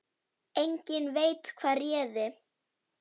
Enginn veit hvað réði.